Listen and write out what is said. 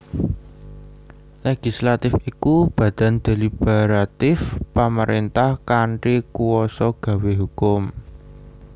Legislatif iku badan deliberatif pamaréntah kanthi kuwasa gawé hukum